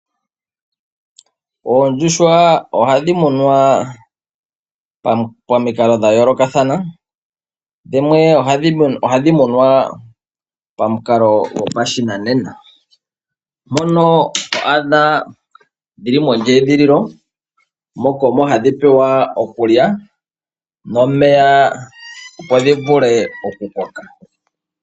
Oondjuhwa oha dhimunwa pamikalo dha yoolokathana dhimwe ohadhi munwa pamukalo go pashinanena, mona twadha dhili mondjedhililo moka omo hadhi pewa okulya nomeya opo dhivule oku koka.